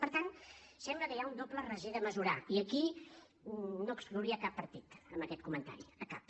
per tant sembla que hi ha un doble raser de mesurar i aquí no exclouria cap partit amb aquest comentari cap